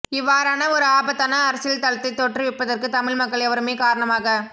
இவவாறான ஒரு ஆபத்தான அரசியல் தளத்தை தோற்றுவிப்பதற்கு தமிழ் மக்கள் எவருமே காரணமாக